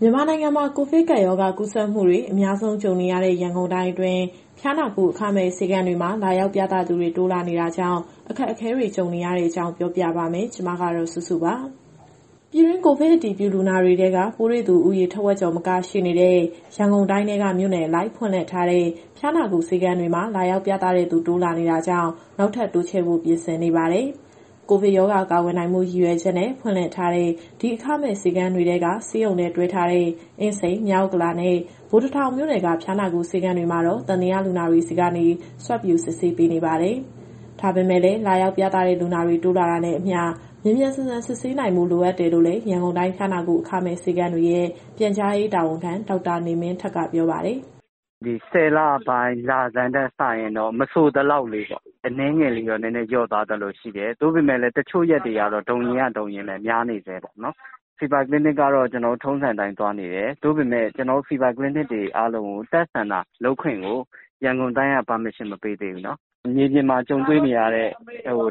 မြန်မာနိုင်ငံမှာ ကိုဗစ်ကပ်ရောဂါ ကူးစက်မှုတွေ အများဆုံးကြုံနေရတဲ့ ရန်ကုန်တိုင်းအတွင်း ဖျားနာကုဆေးခန်းတွေမှာ လာရောက်ပြသသူတွေ တိုးလာနေတာကြောင့် အခက်အခဲတွေ ကြုံနေရတဲ့အကြောင်း ပြောပြပါမယ်။ ဒီသတင်းကို ဗွီအိုအေမြန်မာပိုင်း သတင်းထောက် မစုစုက တင်ဆက်ပေးမှာပါ။ ပြည်တွင်း ကိုဗစ်အတည်ပြုလူနာတွေထဲက ပိုးတွေ့သူဦးရေ ထက်ဝက်ကျော်မက ရှိနေတဲ့ ရန်ကုန်တိုင်းထဲက မြို့နယ်အလိုက်ဖွင့်ထားတဲ့ ဖျားနာကုဆေးခန်းတွေမှာ လာရောက်ပြသတဲ့သူ တိုးလာနေတာကြောင့် နောက်ထပ် တိုးချဲ့ဖို့ ပြင်ဆင်နေပါတယ်။ ကိုဗစ်ရောဂါ ကာကွယ်နိုင်ဖို့ ရည်ရွယ်ချက်နဲ့ ဖွင့်လှစ်ထားတဲ့ ဒီအခမဲ့ဆေးခန်းတွေထဲက ဆေးရုံနဲ့တွဲထားတဲ့ အင်းစိန်၊ မြောက်ဥက္ကလာနဲ့ ဗိုလ်တထောင်မြို့နယ်က ဖျားနာကုဆေးခန်းတွေမှာတော့ သံသယလူနာတွေဆီကနေ Swab ယူစစ်ဆေးပေးနေပါတယ်။ ဒါပေမဲ့လည်း လာရောက်ပြသတဲ့ လူနာတွေ တိုးလာတာနဲ့အမျှ မြန်မြန်ဆန်ဆန် စစ်ဆေးနိုင်ဖို့ လိုနေတယ်လို့လည်း ရန်ကုန်တိုင်းဖျားနာကု အခမဲ့ဆေးခန်းတွေရဲ့ပြန်ကြားရေးတာဝန်ခံ ဒေါက်တာနေမင်းထက်က ပြောပါတယ်။ “(Fever Clinic တွေမှာ) ဒီ ၁၀ လပိုင်း လဆန်းထက်စာရင်တော့ မဆိုသလောက်လေးပေါ့၊ အနည်းငယ်လေးတော့ လျှော့သွားသလိုရှိတယ်။ သို့ပေမဲ့လည်း တချို့ရက်တွေကတော့ ဒုံရင်းက ဒုံရင်းပဲ များနေဆဲပေါ့နော်။ Fever Clinic ကတော့ ကျနော်တို့ထုံးစံအတိုင်း သွားနေတယ်။ သို့ပေမဲ့ ကျနော်တို့ Fever Clinic တွေအားလုံးကို Test Center လုပ်ခွင့်ကို ရန်ကုန်တိုင်းက ခွင့်ပြုချက် မပေးသေးဘူး။ မြေပြင်မှာကြုံတွေ့နေရတဲ့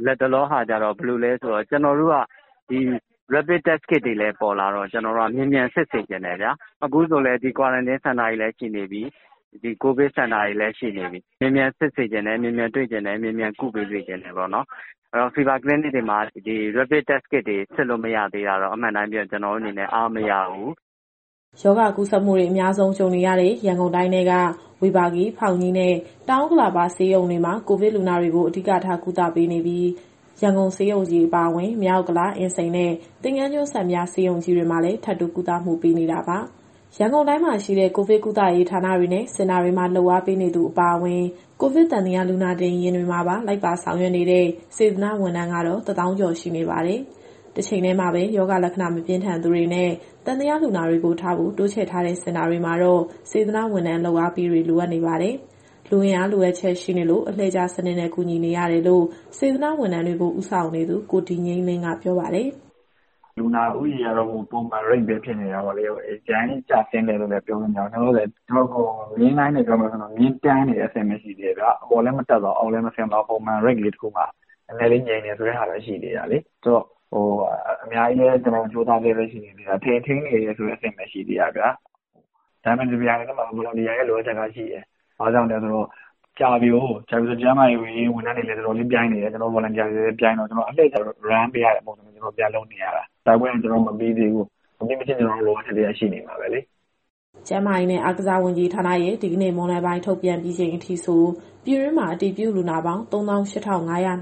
လတ်တလောအခြေအနေက ဘယ်လိုလဲဆိုတော့ Rapid Test Kit တွေလည်းပေါ်လာတော့ ကျနော်တို့က မြန်မြန်စစ်စေချင်တယ်ဗျာ။ အခုဆိုလည်း ဒီ Quarantine Center တွေလည်း ရှိနေပြီ၊ ကိုဗစ်စင်တာတွေလည်း ရှိနေပြီ။ အဲတော့ မြန်မြန်စစ်စေချင်တယ်၊ မြန်မြန်တွေ့စေချင်တယ်၊ မြန်မြန်ကုပေးစေချင်တယ်ပေါ့နော်။ အဲဒီတော့ Fever Clinic တွေမှာ Rapid Test Kit တွေ စစ်လို့မရသေးတာတော့ အမှန်တိုင်းပြောရင် ကျနော်တို့အနေနဲ့ အားမရဘူး။” ရောဂါကူးစက်မှုတွေ အများစု ကြုံနေရတဲ့ ရန်ကုန်တိုင်းထဲက ဝေဘာဂီ၊ ဖောင်ကြီးနဲ့ တောင်ဥက္ကလာပဆေးရုံတွေမှာ ကိုဗစ်လူနာတွေကို အဓိကထား ကုသပေးနေပြီး၊ ရန်ကုန်ဆေးရုံကြီးအပါအဝင် မြောက်ဥက္ကလာ၊ အင်းစိန်နဲ့ သင်္ဃန်းကျွန်း စံပြဆေးရုံကြီးတွေမှာလည်း ထပ်တိုးကုသမှုပေးနေတာပါ။ ရန်ကုန်တိုင်းမှာရှိတဲ့ ကိုဗစ်ကုသရေးဌာနတွေနဲ့ စင်တာတွေမှာ လုပ်အားပေးနေသူ အပါအဝင်၊ ကိုဗစ်သံသယ လူနာတင်ယာဉ်တွေမှာပါ လိုက်ပါဆောင်ရွက်နေတဲ့ စေတနာ့ဝန်ထမ်းကတော့ ၁၀,၀၀၀ ကျော်ရှိပါတယ်။ တချိန်တည်းမှာပဲ ရောဂါလက္ခဏာ မပြင်းထန်သူတွေနဲ့ သံသယလူနာတွေကိုထားဖို့ တိုးချဲ့ထားတဲ့စင်တာတွေမှာတော့ စေတနာ့ဝန်ထမ်း လုပ်အားပေးတွေ လိုအပ်နေပါတယ်။ လူအင်အားလိုအပ်ချက်ရှိနေလို့ အလှည့်ကျစနစ်နဲ့ ကူညီနေရတယ်လို့ စေတနာ့ဝန်ထမ်းတွေကို ဦးဆောင်နေသူ ကိုဒီငြိမ်းလင်းက ပြောပါတယ်။ “လူနာဦးရေကတော့ ပုံမှန်ပဲဖြစ်နေတာပေါ့လေ။ အရမ်းကြီးကျဆင်းတယ်လို့လည်း ပြောလို့မရဘူး။ လောလောဆယ် ကျနော်တို့တွေ မျဉ်းလိုင်းနဲ့ပြောမယ်ဆိုရင်တော့ မျဉ်းတန်းနေတဲ့အဆင့်ပဲ ရှိသေးတယ်ဗျာ။ အပေါ်လည်း တက်မသွားဘူး၊ အောက်လည်း ဆင်းမသွားဘူး၊ Normal Range လေးတခုမှာ နည်းနည်းလေးငြိမ်နေတယ် ဆိုတဲ့ဟာပဲ ရှိနေတာလေ။ ဆိုတော့ အများကြီးလည်း ကျနော်တို့ကြိုးစားဆဲပဲ ရှိနေသေးတာ၊ ထိန်းနေဆဲဆိုတဲ့ အဆင့်ပဲရှိနေသေးတာဗျာ။ ဒါပေမဲ့ တပြိုင်နက်တည်းမှာ Volunteer တွေရဲ့ လိုအပ်ချက်ကရှိတယ်။ ဘာကြောင့်လဲဆိုတော့ ကြာပြီကိုး။ ကြာပြီဆိုတော့ ကျန်းမာရေးဝန်ထမ်းတွေလည်း တော်တော်လေးပြိုင်းနေတယ်၊ ကျနော်တို့ Volunteer တွေလည်း ပြိုင်းတော့ ကျနော်တို့အလှည့်ကျ Run ပေးရတဲ့ပုံစံ ပြန်လုပ်နေရတာ။ တိုက်ပွဲက မပြီးသေးဘူး၊ မပြီးမချင်းကတော့ လိုအပ်ချက်တွေကတော့ ရှိနေမှာပဲလေ။” ကျန်းမာရေးနဲ့ အားကစားဝန်ကြီးဌာနရဲ့ ဒီကနေ့မွန်းလွဲပိုင်း ထုတ်ပြန်ပြီးချိန်အထိဆို ပြည်တွင်းမှာ အတည်ပြုလူနာပေါင်း ၃၈,၅၀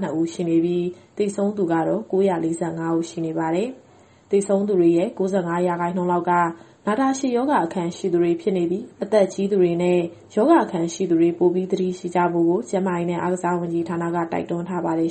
၂ ဦးရှိနေပြီး၊ သေဆုံးသူကတော့ ၉၄၅ ဦးရှိနေပါတယ်။ သေဆုံးသူတွေရဲ့ ၉၅ ရာခိုင်နှုန်းလောက်က နာတာရှည်ရောဂါ အခံရှိသူတွေဖြစ်နေပြီး၊ အသက်အရွယ်ကြီးသူတွေနဲ့ ရောဂါအခံရှိသူတွေ ပိုပြီး သတိရှိကြဖို့ကို ကျန်းမာရေးနဲ့ အားကစားဝန်ကြီးဌာနက တိုက်တွန်းထားပါတယ်။